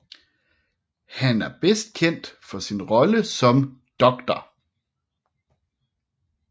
Han er bedst kendt for sin rolle som Dr